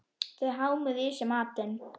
Þau hámuðu í sig matinn.